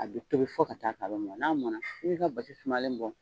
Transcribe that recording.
A bɛ tobi fɔ ka t'a kɛ a mɔna, n'a mɔna i ka basi sumalen bɔ.